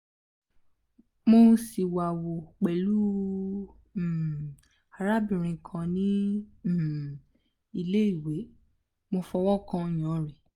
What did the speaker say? mo siwawu pelu um arabirin kan ni ile um iwe mo fowokan oyan re